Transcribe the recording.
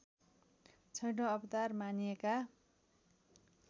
छैठौँ अवतार मानिएका